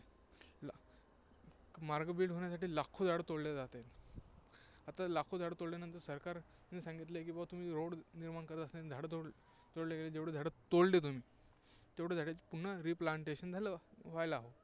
मार्ग build होण्यासाठी लाखो झाडं तोडली जात आहेत. आता लाखो झाडं तोडल्यानंतर सरकार ने सांगितलं आहे की बुवा तुम्ही road निर्माण करत असताना झाडं तोडल्या गेली, जेवढी झाडं तोडले तुम्ही, तेवढ्या झाडांची पुन्हा replantation झालं व्हायला.